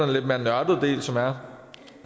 lidt mere nørdede del som er